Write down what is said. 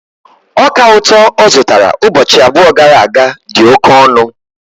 Ọka ụtọ ọ zụtara ụbọchị abụọ gara aga dị oke ọnụ